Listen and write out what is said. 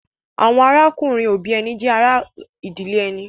Àwọn arákùnrin-òbí ẹni náà jẹ́ ará ìdílé ẹni.